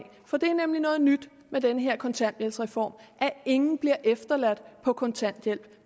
for det er nemlig noget nyt ved den her kontanthjælpsreform at ingen bliver efterladt på kontanthjælp